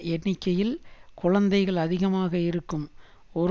எண்ணிக்கையில் குழந்தைகள் அதிகமாக இருக்கும் ஒரு